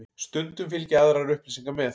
Stundum fylgja aðrar upplýsingar með.